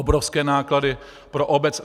Obrovské náklady pro obec.